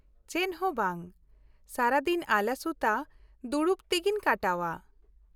-ᱪᱮᱫ ᱦᱚᱸ ᱵᱟᱝ, ᱥᱟᱨᱟᱫᱤᱱ ᱟᱞᱟᱥᱩᱛᱟᱹ ᱫᱩᱲᱩᱵ ᱛᱤᱜᱤᱧ ᱠᱟᱴᱟᱣᱟ ᱾